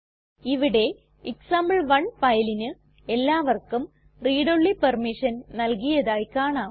ഇവിടെ എക്സാംപിൾ1 ഫയലിന് എല്ലാവർക്കും read ഓൺലി പെർമിഷൻ നൽകിയതായി കാണാം